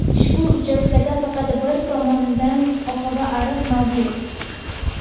Ushbu uchastkada faqat bir tomonda oqava ariq mavjud.